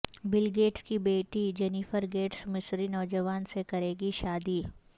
بل Gates کی بیٹی Jennifer Gates مصری نوجوان سے کریں گی شادی